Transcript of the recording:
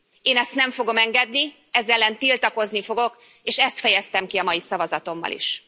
Én ezt nem fogom engedni, ez ellen tiltakozni fogok, és ezt fejeztem ki a mai szavazatommal is.